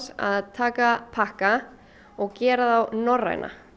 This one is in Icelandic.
að taka pakka og gera þá norræna